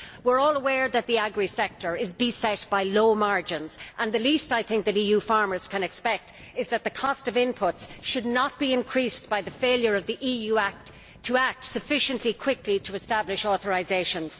We are all aware that the agri sector is beset by low margins, and the least, I think, that EU farmers can expect is that the cost of inputs should not be increased by the failure of the EU to act sufficiently quickly to establish authorisations.